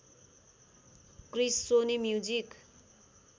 Chris Sony music